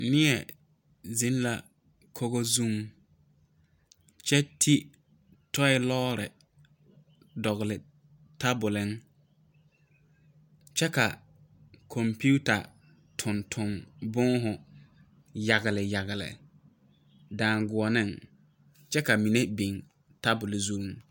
Neɛ ziŋ la kogo zuiŋ kyɛ ti tɔɔe lɔɔre naŋ dɔŋli tabuliŋ kyɛ ka kɔmpiuta toŋtoŋ boma yageyagle daŋgoɔniŋ kyɛ ka mine biŋ tabul zuŋ.